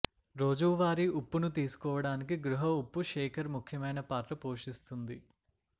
రోజువారీ ఉప్పును తీసుకోవటానికి గృహ ఉప్పు శేకర్ ముఖ్యమైన పాత్ర పోషిస్తుంది